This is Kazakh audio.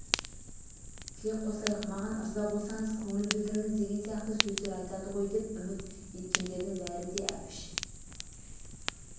тілек қосайық маған ырза болсаңыз көңіл білдіріңіз деген сияқты сөздер айтады ғой деп үміт еткендердің бәрі де әбіш